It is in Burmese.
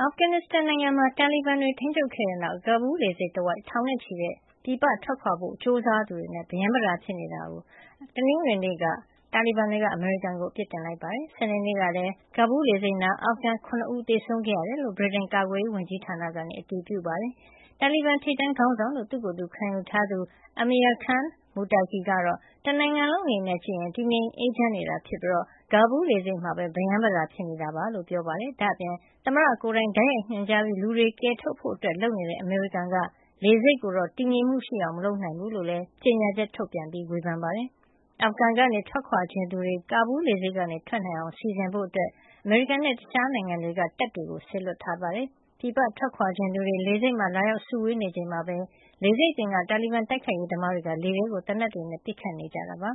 အာဖဂန်နစ်စတန်နိုင်ငံမှာ တာလီဘန်တွေ ထိန်းချုပ်ခဲ့တဲ့နောက် ကာဘူးလ်လေဆိပ်တဝိုက် ထောင်နဲ့ချီတဲ့ ပြည်ပထွက်ခွါဖို့ကြိုးစားသူတွေနဲ့ ပရမ်းပတာ ဖြစ်နေတာအတွက် တနင်္ဂနွေနေ့မှာ တာလီဘန်တွေက အမေရိကန်ကိုအပစ်တင်ခဲ့ပါတယ်။ စနေနေ့ကလည်း ကာဘူးလ် လေဆိပ်နားမှာ အာဖဂန် ၇ ဦး သေဆုံးခဲ့ရတယ်လို့ ဗြိတိန်ကာကွယ်ရေး ဝန်ကြီးဌာနက အတည်ပြုပါတယ်။ တာလီဘန်ထိပ်တန်း ခေါင်းဆောင်လို့ သူ့ကိုယ်သူခံယူထားသူ Amir Khan Mutaqi ကတော့ တနိုင်ငံလုံး အနေနဲ့ကြည့်ရင် တည်ငြိမ်အေးချမ်းနေတာ ဖြစ်ပြီး ကာဘူးလ် လေဆိပ်မှာပဲ ပရမ်းပတာဖြစ်နေတာ လို့ပြောပါတယ်။ ဒါ့အပြင် သမ္မတကိုယ်တိုင် တိုက်ရိုက်ညွန်ကြားပြီး လူတွေကယ်ထုတ်ဖို့ လုပ်နေတဲ့ အမေရိကန်က လေဆိပ်ကိုတော့ တည်ငြိမ်မှုရှိအောင် မလုပ်နိုင်ဘူးလို့လည်း ကြေညာချက် ထုတ်ပြန်ပြီး ဝေဖန်ပါတယ်။ အာဖဂန်ကနေ ထွက်ခွါချင်သူတွေ ကာဘူးလ် လေဆိပ်ကနေထွက်ခွါနိုင်အောင် စီစဉ်ဖို့ အမေရိကန်နဲ့ တခြားနိုင်ငံတွေက တပ်တွေ စေလွှတ်ထားတာပါ။ ပြည်ပထွက်ခွါချင်သူတွေ လေဆိပ်မှာ လာရောက်စုဝေးနေချိန်မှာပဲ လေဆိပ်အပြင်က တာလီဘန်တိုက်ခိုက်ရေး သမားတွေက လေထဲကို သေနတ်တွေနဲ့ ပစ်ခတ်နေကြ တယ်လို့လ